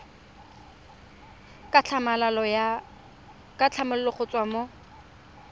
ka tlhamalalo go tswa mo